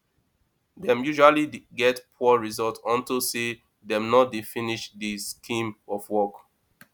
dem usually get poor result unto say dem no dey finish de scheme of work